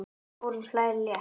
Þórunn hlær létt.